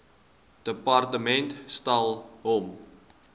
departement stel hom